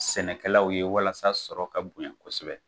Sɛnɛkɛlaw ye walasa sɔrɔ ka bonya kosɛbɛ